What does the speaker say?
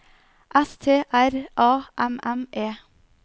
S T R A M M E